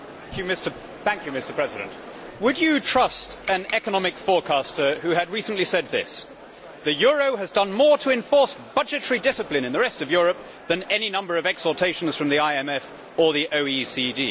Mr President, would you trust an economic forecaster who had recently said this The euro has done more to enforce budgetary discipline in the rest of Europe than any number of exhortations from the IMF or the OECD'?